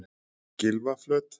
Gylfaflöt